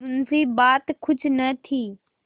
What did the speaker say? मुंशीबात कुछ न थी